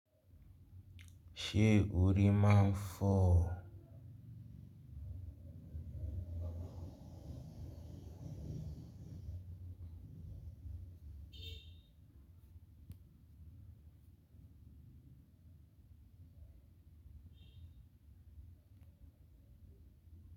Ṣé o rí má ń fọ́?